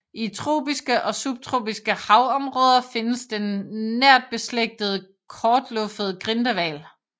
I tropiske og subtropiske havområder findes den nærtbeslægtede kortluffede grindehval